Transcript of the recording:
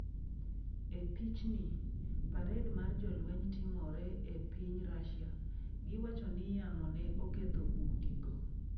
E Pichni: Parade mar jolweny timore e piny Rusia Giwacho ni yamo ne oketho udigo.